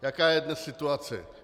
Jaká je dnes situace?